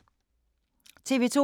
TV 2